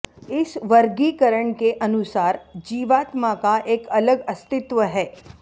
इस वर्गीकरण के अनुसार जीवात्मा का एक अलग अस्तित्व है